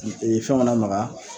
I e ɛn fɛnw ka na maga